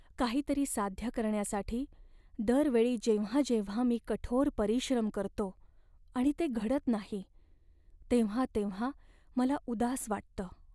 काहीतरी साध्य करण्यासाठी दर वेळी जेव्हा जेव्हा मी कठोर परिश्रम करतो आणि ते घडत नाही, तेव्हा तेव्हा मला उदास वाटतं.